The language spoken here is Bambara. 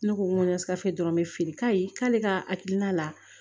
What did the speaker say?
Ne ko ŋo sikasɔrɔ be feere k'a ye k'ale ka hakilina la